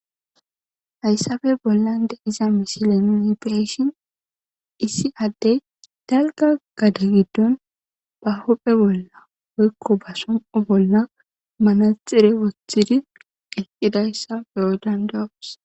hayssape bollan de'iza mishile nuni bi'eshin issi addey dalga gade giddon ba hopphe bolla woykko ba somoo bolla manaxire wothidi eqqidayssa beyo dandayos